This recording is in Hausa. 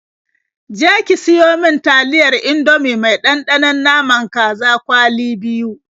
Je ki siyo mi taliyar Indomie mai ɗanɗanon naman kaza kwali biyu.